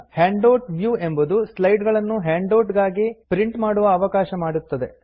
handout view ಎಂಬುದು slide ಗಳನ್ನು handout ಗಾಗಿ ಪ್ರಿಂಟ್ ಮಾಡಲು ಅವಕಾಶ ಮಾಡುತ್ತದೆ